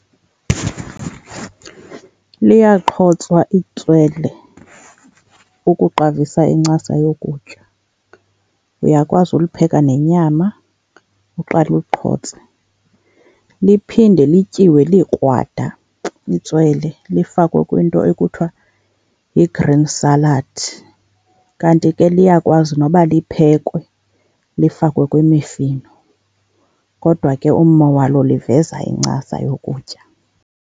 Liyaqhotswa itswele ukuqavisa incasa yokutya. Uyakwazi ulipheka nenyama, uqale uliqhotse, liphinde lityiwe likrwada itswele lifakwe kwinto ekuthiwa yigreen salad. Kanti ke liyakwazi noba liphekhwe, lifakwe kwimifino, kodwa ke ummo walo liveza incasa yokutya.